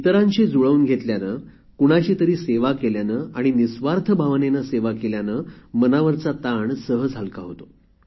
इतरांशी जुळवून घेतल्याने कुणाची तरी सेवा केल्याने आणि निस्वार्थ भावनेने सेवा केल्याने मनावरचा ताण सहज हलका होतो